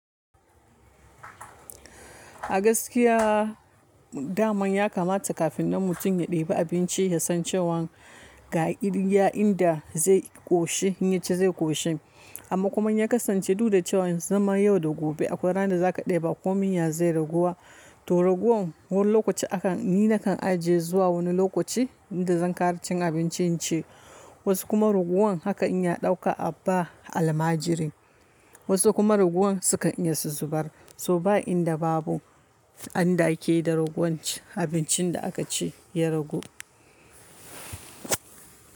A gaskiya, daman ya kamata kafin na mutum ya ɗebi abinci, ya san cewan ga iya inda zai ƙoshi, in yaci zai koshi. Amma kuma in ya kasance duk da cewa zaman yau da gobe, akwai ran da za ka ɗeba ko min ya zai raguwa. To raguwan wani lokaci, akan ni na kan ajiye zuwa wani lokaci inda zan ƙara cin abincin ci. Wasu kuma raguwan haka in ya ɗauka a ba almajiri. Wasu kuma raguwan, sukan iya su zubar. To ba inda babu, an dake da raguwan abincin da aka ci ya ragu.